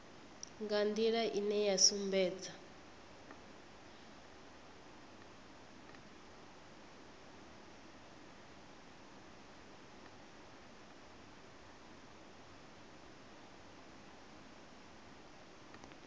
nga nḓila ine ya sumbedza